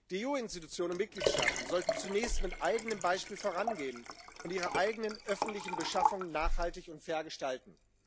Die EU Insitutionen und Mitgliedstaaten sollten zunächst mit eigenem Beispiel vorangehen und ihre eigenen öffentlichen Beschaffungen nachhaltig und fair gestalten.